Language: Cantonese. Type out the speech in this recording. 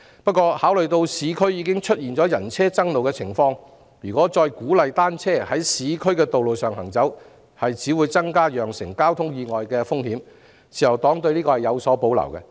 可是，考慮到市區已經常出現人車爭路的情況，如果再鼓勵單車在市區的道路上行走，只會增加釀成交通意外的風險，故自由黨對此有所保留。